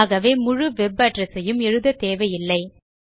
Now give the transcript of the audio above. ஆகவே முழு web address ஐயும் எழுத தேவையில்லை